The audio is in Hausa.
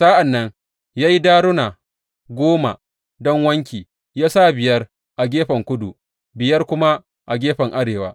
Sa’an nan ya yi daruna goma don wanki ya sa biyar a gefen kudu, biyar kuma a gefen arewa.